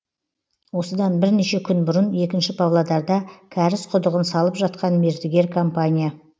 осыдан бірнеше күн бұрын екінші павлодарда кәріз құдығын салып жатқан мердігер компания